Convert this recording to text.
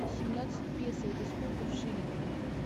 семнадцать песо это сколько в шиллингах